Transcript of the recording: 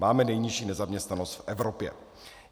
Máme nejnižší nezaměstnanost v Evropě.